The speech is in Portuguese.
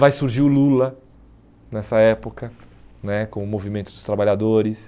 Vai surgir o Lula nessa época né, com o movimento dos trabalhadores.